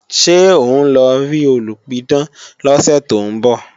Ṣé òun lọ rí olùpidán lọ́sẹ̀ tó ń bọ̀?